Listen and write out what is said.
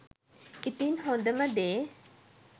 ඉතින් හොඳම දේ